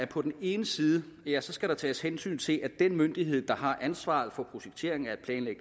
på den ene side skal tages hensyn til at den myndighed der har ansvaret for projekteringen af et